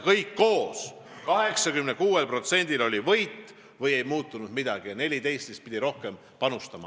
Kõik koos: 86%-l oli võit või ei muutunud midagi ja 14% pidi rohkem panustama.